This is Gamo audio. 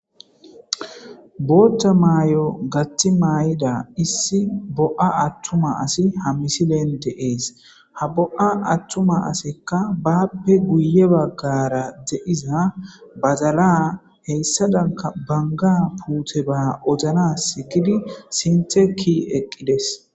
Botha mayo gathi mayida issi atuma assiy ha misilen des bo'a atuma asiy bappe guye bagara de'iza badala hedanka baga puttiya kushe oyqi eqides